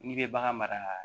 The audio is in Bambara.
N'i bɛ bagan mara